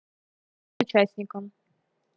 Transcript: участникам